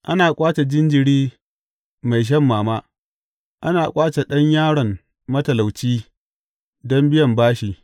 Ana ƙwace jinjiri mai shan mama; ana ƙwace ɗan yaron matalauci don biyan bashi.